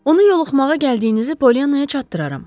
Onu yola salmağa gəldiyinizi Polyannaya çatdıraram.